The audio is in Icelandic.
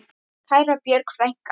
Kæra Björg frænka.